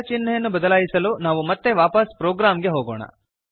ಚಿಹ್ನೆಯನ್ನು ಬದಲಾಯಿಸಲು ನಾವು ಮತ್ತೆ ವಾಪಸ್ ಪ್ರೋಗ್ರಾಂಗೆ ಹೋಗೋಣ